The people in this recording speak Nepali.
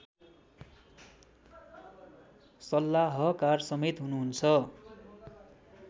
सल्लाहकार समेत हुनुहुन्छ